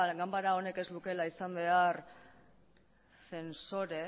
ganbara honek ez lukeela izan behar zentsore